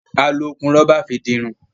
A lò okùn rọ́bà fí dì Irun